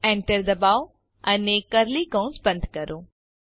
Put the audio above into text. Enter ડબાઓ અને curly કૌંસ બંધ કરો